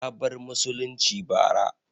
Ya bar musulunci bara